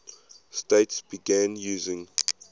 states began using